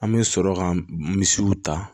An bɛ sɔrɔ ka misiw ta